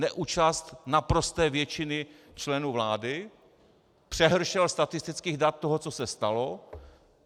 Neúčast naprosté většiny členů vlády, přehršel statistických dat toho, co se stalo.